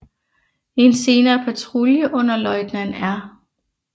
En senere patrulje under løjtnant R